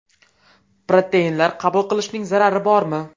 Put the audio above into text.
Proteinlar qabul qilishning zarari bormi?